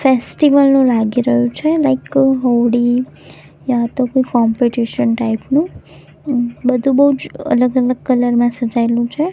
Festival નુ લાગી રહ્યુ છે લાઇક હોડી યા તો કોઇ કોમ્પિટિશન ટાઇપ નુ બધુ બોજ અલગ અલગ કલર માં સજાઇલુ છે.